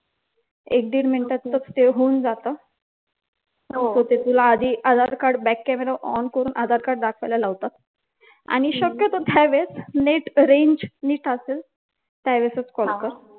एक दीड मिनिटात ते होऊन जातं हो ते तुला आधी Aadhaar card back camera on करून आधारकार्ड दाखवायला लावतात आणि शक्यतो त्या वेळेस net range नीट असेल त्यावेळेसच कॉल कर.